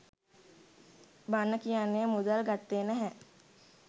බන කියන්න මුදල් ගත්තේ නැහැ